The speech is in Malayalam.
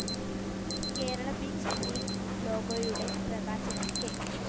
കേരള ബീച്ച്‌ ലീഗ്‌ ലോഗോയുടെ പ്രകാശനം കെ